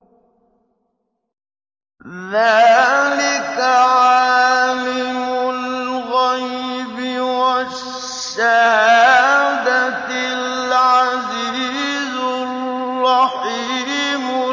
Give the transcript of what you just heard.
ذَٰلِكَ عَالِمُ الْغَيْبِ وَالشَّهَادَةِ الْعَزِيزُ الرَّحِيمُ